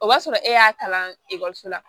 O b'a sɔrɔ e y'a kalan ekɔliso la